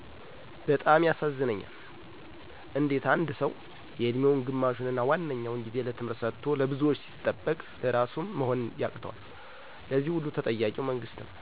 በጣም ያሳዝነኛል። እንዴት ሰው የእድሜውን ግማሹንና ዋነኛው ጊዜ ለትምህርት ሰጦ ለብዙዎች ሲጠበቅ ለራሱም መሆን ያቅተዋል! ለዚህ ሁሉ ተጠያቂው መንግስት ነው።